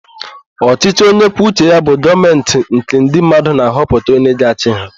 Ọchịchị onyekwuoucheya bụ Gọọmentị nke ndị mmadụ na-ahọpụta onye ga-achị ha.